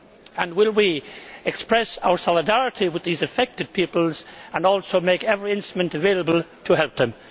And will we express our solidarity with these affected peoples and also make every instrument available to help them?